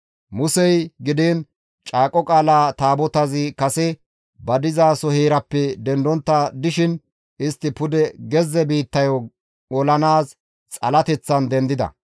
Muse gidiin Caaqo Qaala Taabotazi kase ba diza heeraappe dendontta dishin istti pude gezze biittayo olanaas xalateththan dendida.